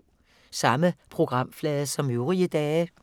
Samme programflade som øvrige dage